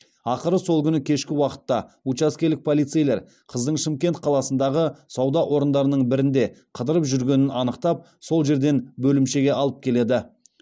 ақыры сол күні кешкі уақытта учаскелік полицейлер қыздың шымкент қаласындағы сауда орындарының бірінде қыдырып жүргенін анықтап сол жерден бөлімшеге алып келеді